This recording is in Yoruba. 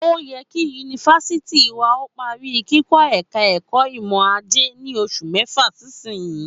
Ó yẹ kí yunifásítì wa ó parí kikọ́ ẹ̀ka ẹ̀kọ́ ìmọọrọ̀ajé ní oṣù mẹ́fà sísinyìí